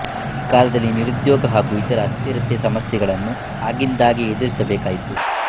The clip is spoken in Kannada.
ಈ ಕಾಲದಲ್ಲಿ ನಿರುದ್ಯೋಗ ಹಾಗೂ ಇತರ ಅಸ್ಥಿರತೆಯ ಸಮಸ್ಯೆಗಳನ್ನು ಆಗಿಂದಾಗ್ಗೆ ಎದುರಿಸಬೇಕಾಯಿತು